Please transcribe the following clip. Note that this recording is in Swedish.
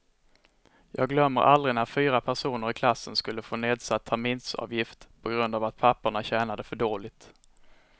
Jag glömmer aldrig när fyra personer i klassen skulle få nedsatt terminsavgift på grund av att papporna tjänade för dåligt.